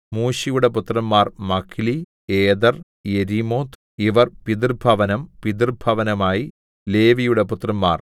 മൂശിയുടെ പുത്രന്മാർ Mahli Eder Jerimoth ഇവർ പിതൃഭവനം പിതൃഭവനമായി ലേവിയുടെ പുത്രന്മാർ